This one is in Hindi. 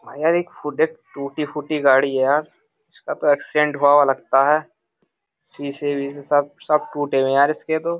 यार एक फूट टूटी फूटी गाड़ी है यार इसका तो एक्सीडेंट हुआ लगता है सी से सब सब टूटे हुए हैं यार इसके तो --